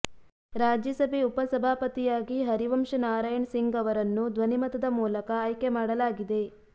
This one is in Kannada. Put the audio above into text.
ರಾಜ್ಯಸಭೆ ಉಪ ಸಭಾಪತಿಯಾಗಿ ಹರಿವಂಶ್ ನಾರಾಯಣ್ ಸಿಂಗ್ ಅವರನ್ನು ಧ್ವನಿಮತದ ಮೂಲಕ ಆಯ್ಕೆ ಮಾಡಲಾಗಿದೆ